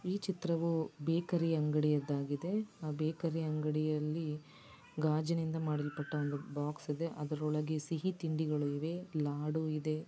ಈ ಚಿತ್ರವೂ ಬೇಕರಿ ಅಂಗಡಿಯಾದ್ದಾಗಿದೆ. ಆ ಬೇಕರಿ ಅಂಗಡಿಯಲ್ಲಿ ಗಾಜಿನಿಂದ ಮಾಡಲ್ಪಟ್ಟ ಒಂದು ಬಾಕ್ಸ್ ಇದೆ. ಅದರೊಳಗೆ ಸಿಹಿ ತಿಂಡಿಗಳು ಇವೆ ಲಾಡು ಇದೆ.